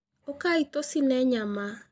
Ũkai tũcine nyama.